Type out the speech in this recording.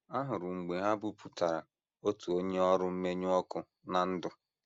Ahụrụ m mgbe ha bupụtara otu onye ọrụ mmenyụ ọkụ ná ndụ.